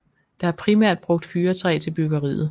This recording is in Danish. Der er primært brugt fyrretræ til byggeriet